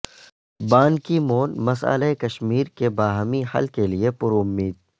بان Ki Moon مسئلہ کشمیر کے باہمی حل کے لئے پرامید